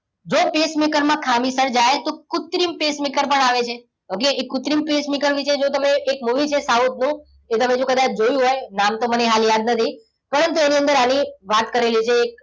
જો pacemaker માં ખામી સર્જાય તો કુત્રિમ pacemaker પણ આવે છે. okay એ કુત્રિમ pacemaker વિશે જો તમે એક movie છે સાઉથ નું. એ જો તમે કદાચ જોયું હોય નામ તો મને હાલ યાદ નથી. પરંતુ એની અંદર અને આની વાત કરેલી છે એક.